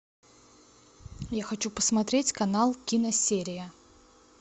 я хочу посмотреть канал киносерия